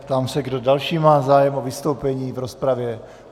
Ptám se, kdo další má zájem o vystoupení v rozpravě.